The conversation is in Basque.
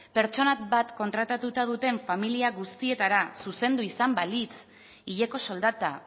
pertsona bat kontratatuta duten familia guztietara zuzendu izan balitz hileko soldata